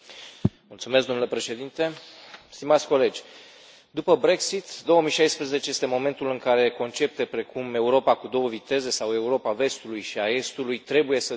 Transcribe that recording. Domnule Președinte, stimați colegi, după Brexit, 2016 este momentul în care concepte precum Europa cu două viteze sau Europa vestului și a estului trebuie să dispară.